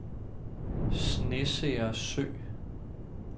Snesere Sø